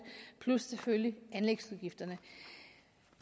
plus selvfølgelig anlægsudgifterne